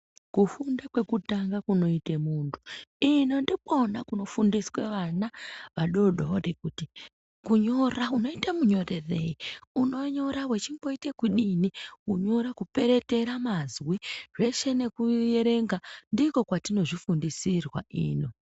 Kufunda kwekutanga kunoite muntu ino ndikona kunofundiswe vana vadodori kuti kunyora unoita munyorerei, uchinyora unomboita kudini kunyora kuperetera mazwi zveshe nekuerenga ndiko kwatinozvifundisirwa ino.